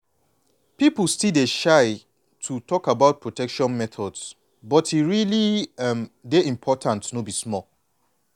people still dey shy to talk about protection methods but e really um dey important no be small.